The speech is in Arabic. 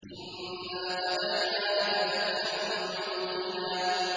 إِنَّا فَتَحْنَا لَكَ فَتْحًا مُّبِينًا